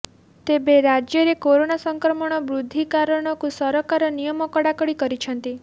ତେବେ ରାଜ୍ୟରେ କରୋନା ସଂକ୍ରମଣ ବୃଦ୍ଧି କାରଣକୁ ସରକାର ନିୟମ କଡ଼ାକଡ଼ି କରିଛନ୍ତି